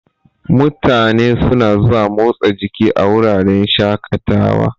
Mutane suna zuwa motsa jiki a wuraren shaƙatawa.